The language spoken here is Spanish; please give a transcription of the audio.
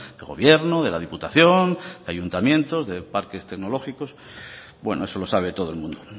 del gobierno de la diputación de ayuntamientos de parques tecnológicos bueno eso lo sabe todo el mundo